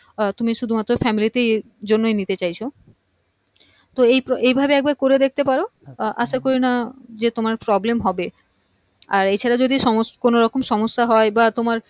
আহ তুমি শুধু মাত্র family তেই জন্যে নিতে চাইছো তো এই ভাব এই ভাবে করে দেখতে পারো আশা করি না যে তোমার problem হবে আর এছাড়াও যদি কোনো রকমের সম্যসা হয় বা তোমার